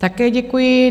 Také děkuji.